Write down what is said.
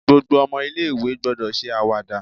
Gbogbo omo ilé ìwé gbọ́dọ̀ ṣe àwàdà